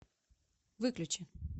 выключи